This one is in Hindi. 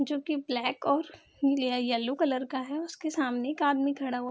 जो की ब्लैक और य येलो कलर का है उसके सामने एक आदमी खड़ा हु --